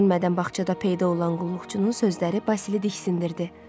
Gözlənilmədən bağçada peyda olan qulluqçunun sözləri Basili diksindirdi.